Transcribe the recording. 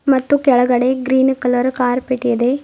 ಮತ್ತು ಕೆಳಗಡೆ green colour carpet ಇದೆ.